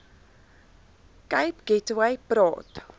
cape gateway praat